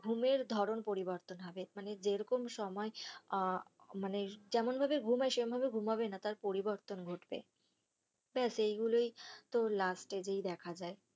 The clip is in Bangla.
ঘুমের ধরণ পরিবর্তন হবে মানে যেরকম সময় আঃ মানে যেমন ভাবে ঘুম হয় সেমন ভাবে ঘুমাবে না তার পরিবর্তন ঘটবে বেশ এই গুলোই তো last stage এই দেখা যায়.